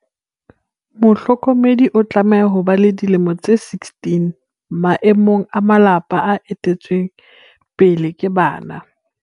Mohlokomedi o tlameha ho ba le dilemo tse 16, maemong a malapa a ete lletsweng pele ke bana.